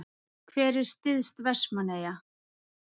Hver er syðst Vestmannaeyja?